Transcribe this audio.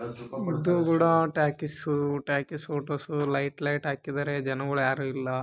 ಇದು ಕೂಡ talkies talkies ಅಲ್ಲಿ ಲೈಟ್ ಲೈಟ್ ಹಾಕಿದ್ದಾರೆ ಮೂವಿ ಹಾಕಿದ್ದಾರೆ ಜನಗಳು ಯಾರು ಇಲ್ಲ --